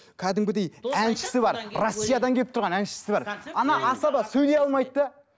кәдімгідей әншісі бар россиядан келіп тұрған әншісі бар асаба сөйлей алмайды да